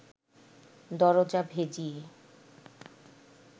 দরজা ভেজিয়ে